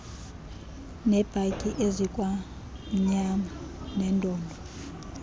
nebhatyi ezikwamnyama neendondo